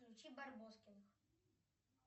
включи барбоскиных